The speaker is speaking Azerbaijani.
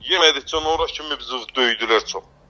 Yemədikcən ora kimi bizi döydülər çox.